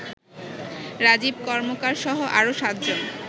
রাজীব কর্মকারসহ আরো সাতজন